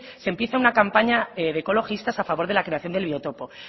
se empieza una campaña de ecologistas a favor de la creación del biotopo